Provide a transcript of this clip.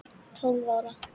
Tólf ára.